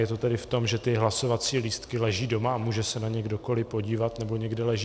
Je to tedy v tom, že ty hlasovací lístky leží doma a může se na ně kdokoli podívat, nebo někde leží.